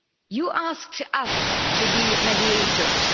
You asked us to be mediators.